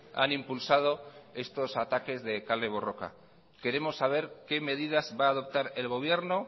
han impulsado estos ataques de kale borroka queremos saber qué medidas va a adoptar el gobierno